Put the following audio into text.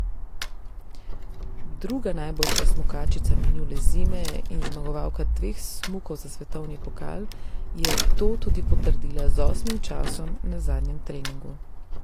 Druga najboljša smukačica minule zime in zmagovalka dveh smukov za svetovni pokal je to tudi potrdila z osmim časom na zadnjem treningu.